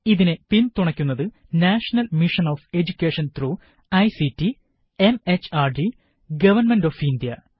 ഇതിനെ പിന് തുണക്കുന്നത് national mission on education through ICT MHRD government of India